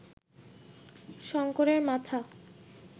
শঙ্করের মাথা